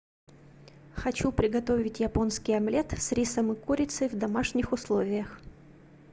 хочу приготовить японский омлет с рисом и курицей в домашних условиях